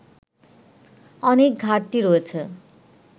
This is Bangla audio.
অনেক ঘাটতি রয়েছে